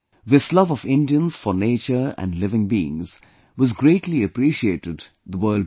This love of Indians for nature and living beings was greatly appreciated the world over